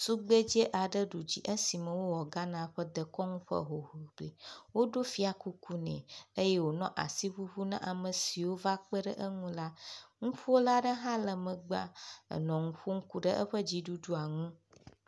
Tugbedze aɖe ɖu dzi esime wowɔ Ghana ƒe dekɔnu ƒe hoŋiŋli, woɖo fiakuku nɛ eye wònɔ asi ŋuŋu na ame siwo va kpeɖe eŋu la, ŋuƒola aɖe hã le megbea nɔ ŋu ƒom ku ɖe eƒe dziɖuɖua ŋu.